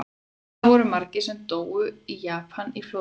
Hvað voru margir sem dóu í Japan í flóðbylgjunni?